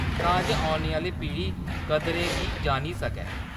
तां जे औने आह्‌‌‌ली पीढ़ी कदरें गी जानी सकै।